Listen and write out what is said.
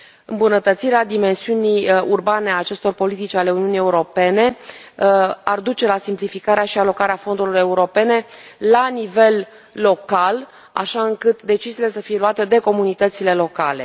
Îmbunătățirea dimensiunii urbane a acestor politici ale Uniunii Europene ar duce la simplificarea și alocarea fondurilor europene la nivel local, așa încât deciziile să fie luate de comunitățile locale.